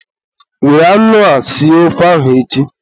Were anụ a sie ofe ahụ echi!